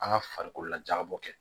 An ka farikololajalabɔ kɛ